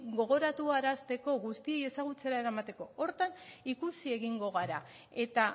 gogoratuarazteko guztiei ezagutzera eramateko horretan ikusi egingo gara eta